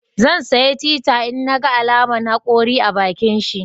Zan saya tita in naga alaman hakori a bakinshi